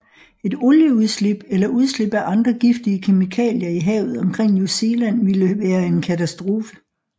Et olieudslip eller udslip af andre giftige kemikalier i havet omkring New Zealand ville være en katastrofe